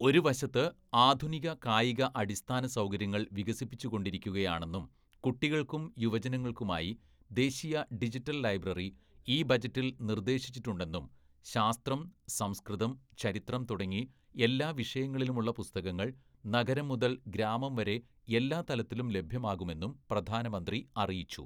ഒരു വശത്ത് ആധുനിക കായിക അടിസ്ഥാന സൗകര്യങ്ങൾ വികസിപ്പിച്ചുകൊണ്ടിരിക്കുകയാണെന്നും കുട്ടികൾക്കും യുവജനങ്ങൾക്കുമായി ദേശീയ ഡിജിറ്റൽ ലൈബ്രറി ഈ ബജറ്റിൽ നിർദേശിച്ചിട്ടുണ്ടെന്നും ശാസ്ത്രം, സംസ്കൃതം, ചരിത്രം തുടങ്ങി എല്ലാ വിഷയങ്ങളിലുമുള്ള പുസ്തകങ്ങൾ നഗരംമുതൽ ഗ്രാമംവരെ എല്ലാ തലത്തിലും ലഭ്യമാകുമെന്നും പ്രധാനമന്ത്രി അറിയിച്ചു.